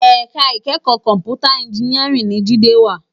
Èká ikèékò kòmpútá ènjìnìárìn ni Jide wá